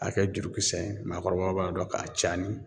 A kɛ jurukisɛ ye maakɔrɔbaw b'a dɔn k'a cani.